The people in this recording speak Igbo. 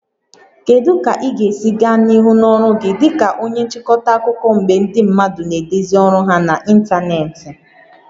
Kedu ka ị ga-esi gaa n'ihu n'ọrụ gị dị ka onye nchịkọta akụkọ mgbe ndị mmadụ na-edezi ọrụ ha n'ịntanetị?